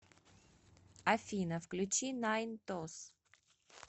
афина включи найнтос